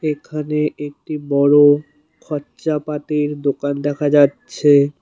এখানে একটি বড় খরচাপাতির দোকান দেখা যাচ্ছে।